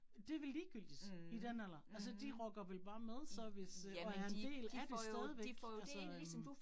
Det vel ligegyldigt i den alder altså de rocker vel bare med så, hvis øh nu er en del af det stadigvæk altså øh